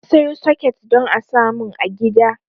Na sayo soket don a samun a gida